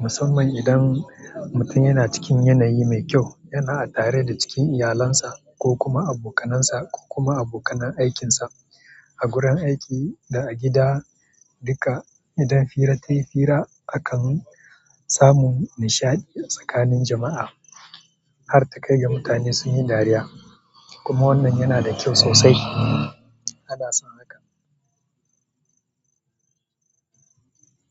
Musamman idan mutun yana cikin yanayi mai kyau, yana tare da a cikin iyalansa, ko kuma abokanansa, ko kuma abokanan aikinsa a gurin aiki da a gida dika. Idan fira tayi fira akan samu nishaɗi tsakanin jama'a, har ta kai ga mutane sun yi dariya. Kuma wannan yana da kyau sosai. Ana son haka.